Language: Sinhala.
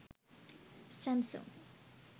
samsung